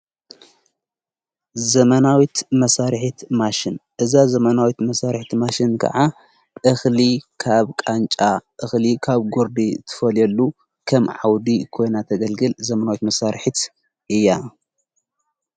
ዘመናዊት መሣርሒት ማሽን እዛ ዘመናዊት መሣርሒት ማሽን ከዓ እኽሊ ኻብ ቃንጫ እኽሊ ካብ ጐርዲ ትፈልየሉ ከም ዓውዲ ኮይና ተገልግል ዘመናዊት መሣርሒት እያ።